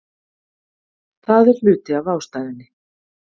Það er hluti af ástæðunni.